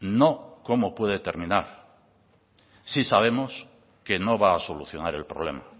no cómo puede terminar sí sabemos que no va a solucionar el problema